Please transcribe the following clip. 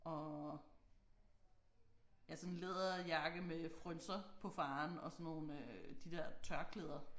Og ja sådan en læderjakke med frynser på faren og sådan nogle øh de der tørklæder